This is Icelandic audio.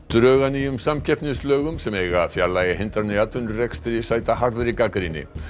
drög að nýjum samkeppnislögum sem eiga að fjarlægja hindranir í atvinnurekstri sæta harðri gagnrýni